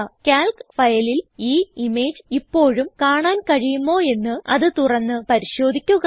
Calc ഫയലിൽ ഈ image ഇപ്പോഴും കാണാൻ കഴിയുമോ എന്ന് അത് തുറന്ന് പരിശോധിക്കുക